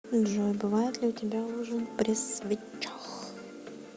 джой бывает ли у тебя ужин при свечах